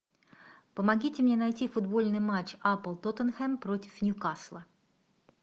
помогите мне найти футбольный матч апл тоттенхэм против ньюкасла